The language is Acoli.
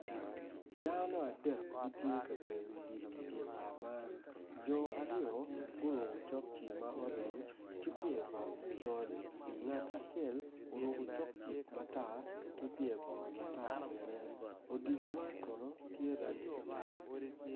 Dano adek gintye ka gweyo odilo i bar man jo aryo gurukku cokci ma oreny ki pyer bongo macol ngat acel oruku cokci matar ki pyer bongo matar bene odilo man kono tye rangi matar